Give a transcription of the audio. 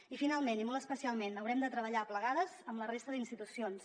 i finalment i molt especialment haurem de treballar plegades amb la resta d’institucions